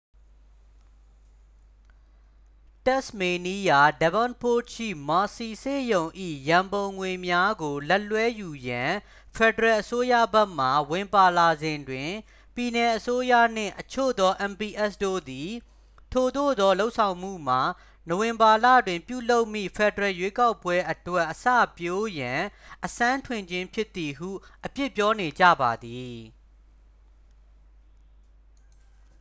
တက်စ်မေးနီးယား devonport ရှိ mersey ဆေးရုံ၏ရန်ပုံငွေများကိုလက်လွှဲယူရန် ဖက်ဒရယ်အစိုးရဘက်မှ ဝင်ပါလာစဉ်တွင် ပြည်နယ်အစိုးရနှင့် အချို့သော mps တို့သည် ထိုသို့သောလုပ်ဆောင်မှုမှာ နိုဝင်ဘာလတွင်ပြုလုပ်မည့် ဖက်ဒရယ်ရွေးကောက်ပွဲအတွက် အစပျိုးရန် အစမ်းထွင်ခြင်းဖြစ်သည်ဟု အပြစ်ပြောနေကြပါသည်